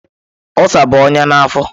Ulsa bụ ọnya na afọ.